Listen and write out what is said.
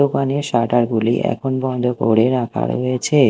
দোকানের শাটার -গুলি এখন বন্ধ করে রাখা রয়েছে।